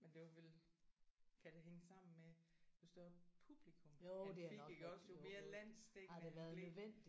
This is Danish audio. Men det var vel kan det hænge sammen med hvis du har publikum han fik iggås jo mere landsdækkende blev